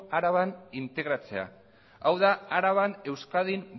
araban integratzea hau da araban euskadin